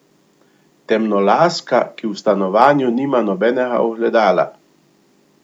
Temnolaska, ki v stanovanju nima nobenega ogledala.